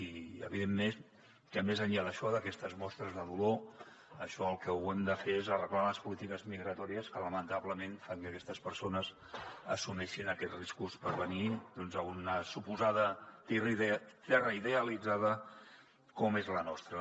i evidentment que més enllà d’això d’aquestes mostres de dolor el que hem de fer és arreglar les polítiques migratòries que lamentablement fan que aquestes persones assumeixin aquests riscos per venir a una suposada terra idealitzada com és la nostra